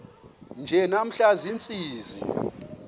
nje namhla ziintsizi